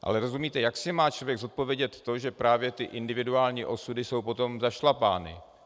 Ale rozumíte, jak si má člověk zodpovědět to, že právě ty individuální osudy jsou potom zašlapány?